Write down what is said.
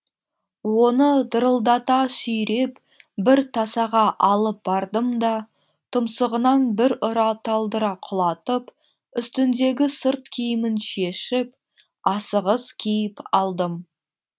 оны дырылдата сүйреп бір тасаға алып бардым да тұмсығынан бір ұра талдыра құлатып үстіндегі сырт киімін шешіп асығыс киіп алдым